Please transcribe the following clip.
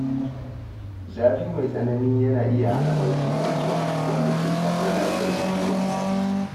Zafi mai tsanani yana iya hana barci mai kyau, wanda ke shafar lafiyar jiki da tunani.